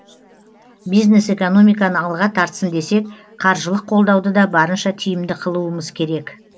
бизнес экономиканы алға тартсын десек қаржылық қолдауды да барынша тиімді қылуымыз керек